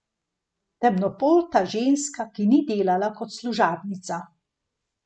Temnopolta ženska, ki ni delala kot služabnica.